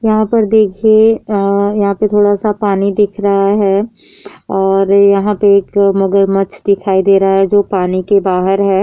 यहाँ पर देखिये अ यहाँ पर थोड़ा सा पानी दिख रहा है और यहाँ पर एक मगरमच्छ दिखाई दे रहा है जो पानी के बाहर है।